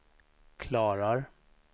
klarar